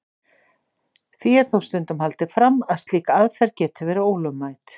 Því er þó stundum haldið fram að slík aðferð geti verið ólögmæt.